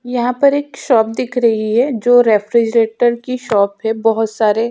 यहाँ पर एक शॉप दिख रही है जो रेफ्रिज़रेटर की शॉप है बहोत सारे --